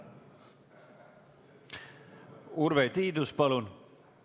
Urve Tiidus, palun!